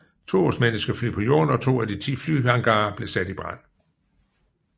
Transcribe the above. To osmanniske fly på jorden og to af de ti flyhangarer blev sat i brand